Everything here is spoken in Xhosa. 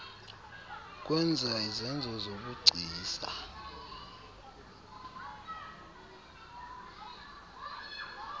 kwenza izenzo zobugcisa